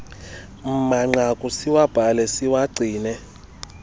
manqaku siwabhale siwagcine